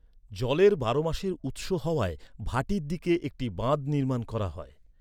জলের বারোমাসের উৎস হওয়ায় ভাটির দিকে একটি বাঁধ নির্মাণ করা হয়।